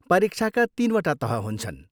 परीक्षाका तिनवटा तह हुन्छन् ।